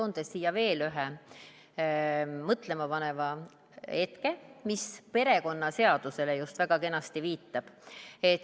Ma toon siia veel ühe mõtlemapaneva hetke, mis just väga kenasti viitab perekonnaseadusele.